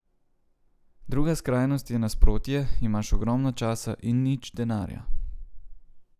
Druga skrajnost je nasprotje, imaš ogromno časa in nič denarja.